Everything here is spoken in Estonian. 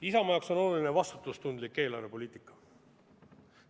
Isamaa jaoks on oluline vastutustundlik eelarvepoliitika.